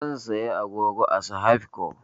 Zan siyo agogo a sahaibco